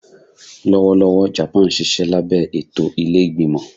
Lọwọlọwọ Japan nṣiṣẹ labẹ eto ile-igbimọ